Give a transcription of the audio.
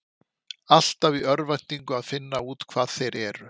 Alltaf í örvæntingu að finna út hvað þeir eru.